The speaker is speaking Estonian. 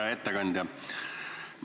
Hea ettekandja!